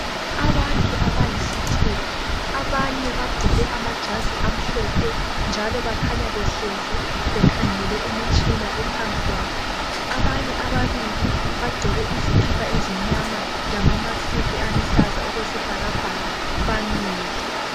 Abantu abayisithupha ,abane bagqoke amajazi amhlophe. Njalo bakhanya behlezi bekhangele imitshina ephambi kwabo . Abanye ababili bagqoke izikipa ezimnyama lalamask aluhlaza okwesibhakabhaka bamile .